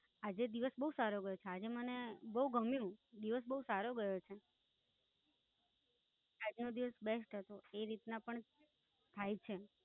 આજે દિવસ બોવ સારો ગયો છે. આજે મને બોવ ગમ્યું, દિવસ બોવ સારો ગયો છે, આજનો દિવસ Best હતો. એ રીતના પણ થઇ છે.